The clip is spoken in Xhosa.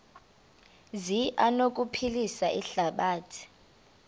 zi anokuphilisa ihlabathi